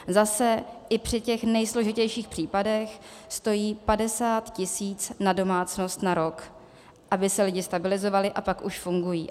Zase i při těch nejsložitějších případech stojí 50 tis. na domácnost na rok, aby se lidi stabilizovali, a pak už fungují.